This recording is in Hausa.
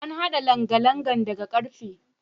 An haɗa langalangan daga karfe.